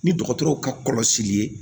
Ni dɔgɔtɔrɔw ka kɔlɔsili ye